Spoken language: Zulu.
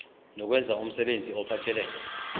nokwenza umsebenzi ophathelene